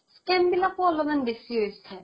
scam বিলাকো অলপমান বেচি হৈছে